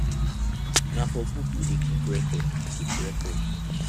na for book we dey keep record keep record